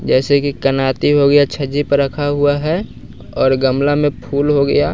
जैसे कि कनाती हो गया छज्जे पर रखा हुआ है और गमला में फूल हो गया--